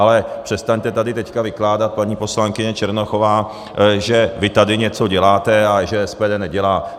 Ale přestaňte tady teď vykládat, paní poslankyně Černochová, že vy tady něco děláte a že SPD nedělá.